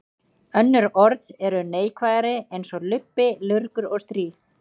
Önnur orð eru neikvæðari eins og lubbi, lurgur og strý.